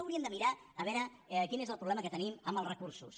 hauríem de mirar a veure quin és el problema que tenim amb els recursos